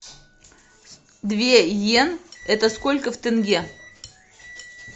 две йен это сколько в тенге